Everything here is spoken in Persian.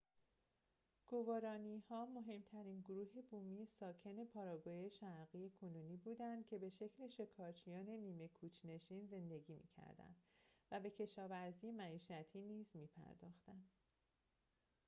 گوارانی‌ها مهم‌ترین گروه بومی ساکن پاراگوئه شرقی کنونی بودند که به شکل شکارچیان نیمه کوچ‌نشین زندگی می‌کردند و به کشاورزی معیشتی نیز می‌پرداختند